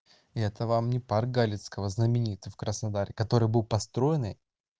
это вам не парк галицького знаменитый в краснодаре который был построенный